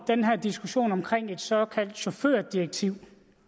den her diskussion omkring et såkaldt chaufførdirektiv